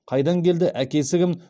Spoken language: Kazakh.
қайдан келді әкесі кім